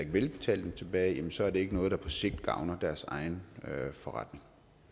vil betale dem tilbage så er det ikke noget der på sigt gavner deres forretning